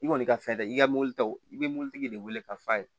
I kɔni ka fɛn dɛ i ka mɔbili ta i bɛ mobilitigi de wele k'a f'a ye